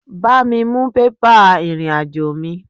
Bá mi mú bébà ìrìn-àjò mí